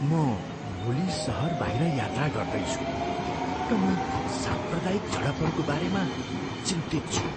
म भोलि सहर बाहिर यात्रा गर्दैछु र म साम्प्रदायिक झडपहरूको बारेमा चिन्तित छु।